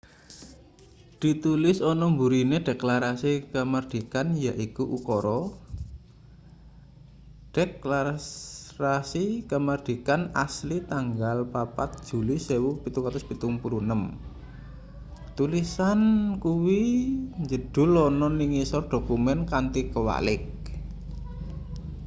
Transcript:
ditulis ana mburine deklarasi kamardikan yaiku ukara deklasrasi kamardikan asli tanggal 4 juli 1776 tulisan kuwi njedhul ana ning ngisor dokumen kanthi kwalik